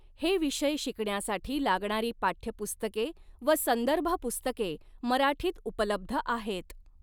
हे विषय शिकण्यासाठी लागणारी पाठ्यपुस्तके व संदर्भपुस्तके मराठीत उपलब्ध आहेत.